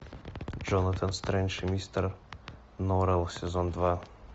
джонатан стрендж и мистер норрелл сезон два